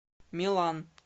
милан